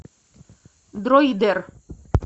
дроидер